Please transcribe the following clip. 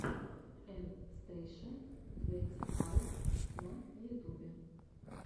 эн стейша твенти файв на ютубе